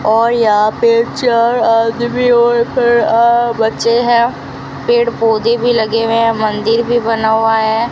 और यह पिक्चर आदमी और बच्चे है पेड़ पौधे भी लगे हुए हैं मंदिर भी बना हुआ है।